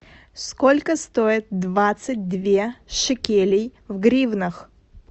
сколько стоит двадцать две шекелей в гривнах